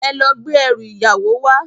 Èlò gbé èrú iyáwó wá